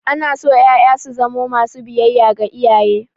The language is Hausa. Ana so ƴaƴa su zamo masu biyayya ga iyaye.